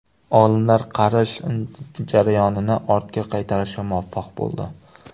Olimlar qarish jarayonini ortga qaytarishga muvaffaq bo‘ldi.